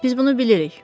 Biz bunu bilirik.